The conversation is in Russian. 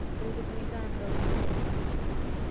предупреждаем проводников